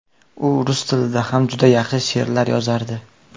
U rus tilida ham juda yaxshi she’rlar yozardi.